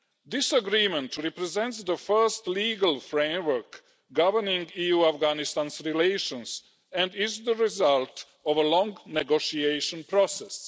This agreement represents the first legal framework governing EU Afghanistan relations and is the result of a long negotiation process.